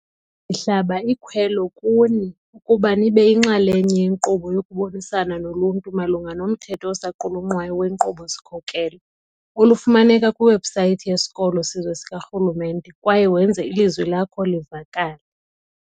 Ndihlaba ikhwelo kuni ukuba nibe yinxalenye yenkqubo yokubonisana noluntu malunga nomthetho osaqulunqwayo wenkqubo-sikhokelo, olufumaneka kwiwebhusayithi yeSikolo Sizwe sikaRhulumente, kwaye wenze ilizwi lakho livakale.